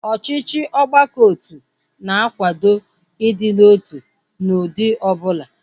Ọchịchị ọgbakọotu na-akwado ịdị n'otu n'ụdị ọbụla